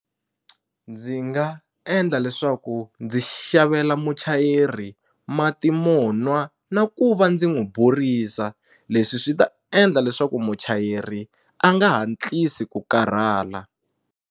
Ndzi nga endla leswaku ndzi xavela muchayeri mati monwa na ku va ndzi n'wu burisa leswi swi ta endla leswaku muchayeri a nga hatlisi ku karhala.